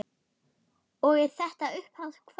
Og er þetta upphaf kvæðis